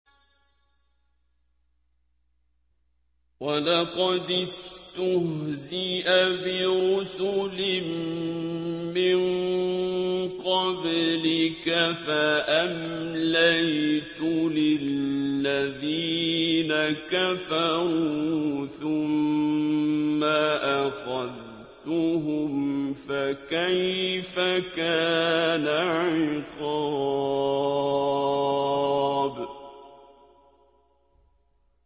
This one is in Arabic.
وَلَقَدِ اسْتُهْزِئَ بِرُسُلٍ مِّن قَبْلِكَ فَأَمْلَيْتُ لِلَّذِينَ كَفَرُوا ثُمَّ أَخَذْتُهُمْ ۖ فَكَيْفَ كَانَ عِقَابِ